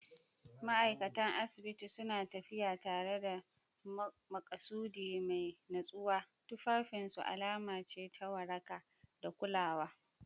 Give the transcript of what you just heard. Ma'aikatan asibiti suna tafiya tare da maƙasudi mai natsuwa, tufafinsu alama ce ta waraka da kulawa.